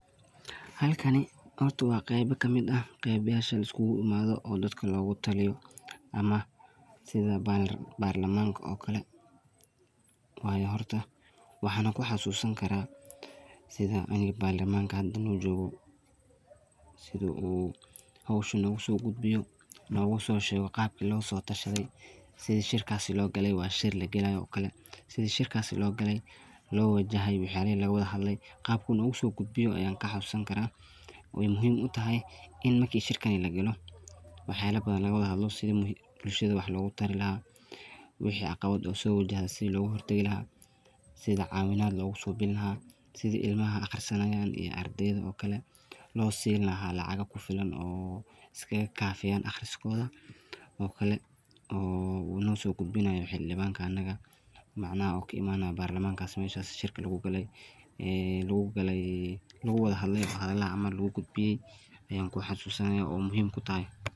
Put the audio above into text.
Haalkani horto waa qeeba kamid aah oo mesha laaiskugu imadho oo daadka loogataliyo ama sidha barlamanka oo kale wayo horta waxan kuxasusani karaa sidhaa hada barlamanka hadoo nojoqo sidhoo hawsahani nogosoqudbiyo nogososheqo qaabka loosotashadhe sidhiii shirkaas loo gale waa shiir lagalayo oo kale sidhii shirkaas loo gale loo wajahay waxayalah lagawadhadle qaabka nogosoqudbiyo aya kaxasusani karaa weyna muhiim u tahay in markani shirkaan lagalo waxa yaal badhaan lagawadhadlo sidhii buulshadha wax lagutari lahaa wixi caqabaad soo wajihi sidhii lagohortaqi lahaa sidhii cawinaad logosobini lahaa sidhii ilmaha aqrisanayan ay ardayda oo kale loosini lahaa lacago kufilaan oo iskaga kafiyan aqriskodha oo kale oo nosogudbinayo xiliwan kaniga macanaha oo kii imanayo barlamanka meshas shirka loogo galay ee logowadhadle wax yalahan camaal laguqudbiye ayan kuxasusanayo oo muhiim kutahay.